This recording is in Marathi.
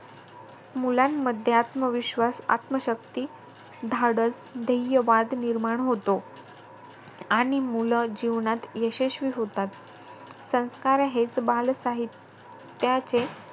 मुलांमध्ये आत्मविश्वास, आत्मशक्ती, धाडस, ध्येयवाद निर्माण होतो. आणि मुलं जीवनात यशस्वी होतात. संस्कार हेच बालसाहित्याचे ,